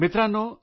मित्रांनो